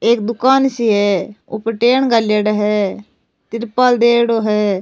एक दुकान सी है ऊपर टेंट घालेड़ा है तिरपाल देएड़ो है।